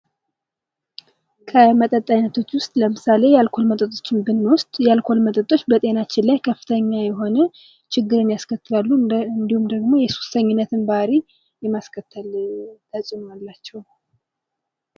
ከመጠጥ አይነቶች ዉስጥ ከምሳሌ የአልኮል መጠጦችን ብንወስድ የአልኮል መጠጦች በጤናችን ላይ አደገኛ የሆነ ችግርን ያስከትላሉ። እንዲሁም የሱሰኝነት ባህር የማስከተል ተጽእኖ አላቸው።